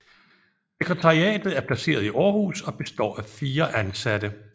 Sekretariatet er placeret i Aarhus og består af fire ansatte